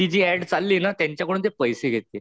ती जी आड चाललीये ना त्यांच्याकडून ते पैसे घेते.